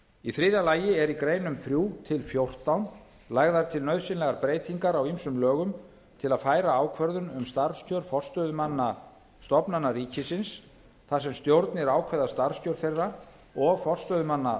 í þriðja lagi er í greinum þrjú til fjórtán lagðar til nauðsynlegar breytingar á ýmsum lögum til að færa ákvörðun um starfskjör forstöðumanna stofnana ríkisins þar sem stjórnir ákveða starfskjör þeirra og forstöðumanna